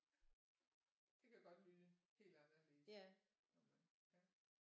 Det kan jo godt lyde helt anderledes når man ja